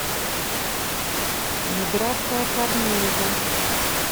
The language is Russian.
миграция корнеева